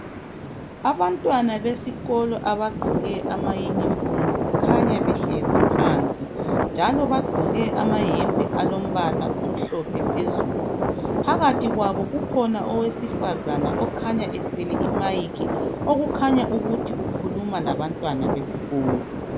Abantwana besikolo abagqoke ama yunifomu kukhanya behlezi phansi njalo bagqoke amayembe alombala omhlophe phezulu. Phakathi kwabo kukhona owesifazana okhanya ethwele imayikhi okukhanya ukuthi ukhuluma labantwana besikolo.